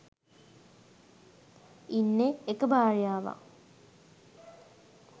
ඉන්නෙ එක භාර්යාවක්